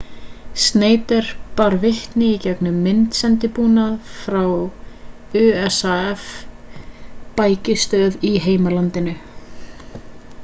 schneider bar vitni í gegnum myndsendibúnað frá usaf-bækistöð í heimalandinu